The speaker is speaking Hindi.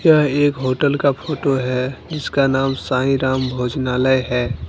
यह एक होटल का फोटो है जिसका नाम साईं राम भोजनालय है।